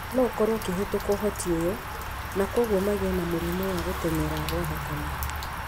no ũkorũo ũkĩhĩtũka ũhoti ũyũ, na kwoguo magĩe na mũrimũ wa gũtenyera gwa thakame.